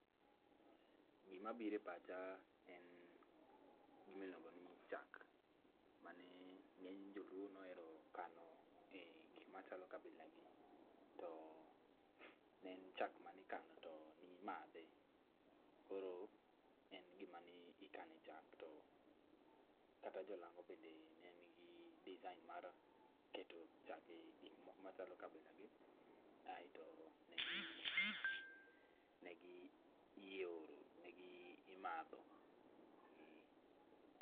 Gima biro e pacha en gima iluongo ni chak. Mane ng'eny joluo ne ohero kano egik machalo kabilagi to ne en chak mane ikano to ne imadhe. Koro en gima ne ikane chak kata jolang'o be ne nigi design[cs| mar keto chak e gik machalo kabilagi aeto negioro negimadho, eh.